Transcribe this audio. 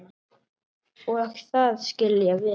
Og það skil ég vel.